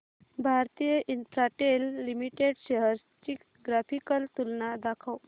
Bharti Infratel limited shares ची graphical तुलना दाखव